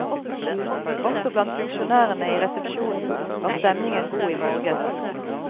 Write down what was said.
Også blant funksjonærene i resepsjonen var stemningen god i morges.